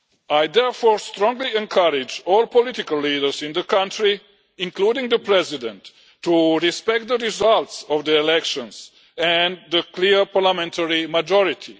I therefore strongly encourage all political leaders in the country, including the president, to respect the results of the elections and the clear parliamentary majority.